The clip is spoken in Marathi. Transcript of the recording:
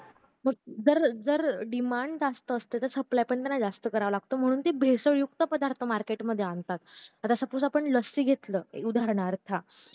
मग जर जर demand जर जास्त असते तर supply पण त्यांना जास्त करावा लागतो म्हणून ते भेसळयुक्त पदार्थ market मध्ये आणता आता suppose आपण लस्सी घेतलं उदारणार्थ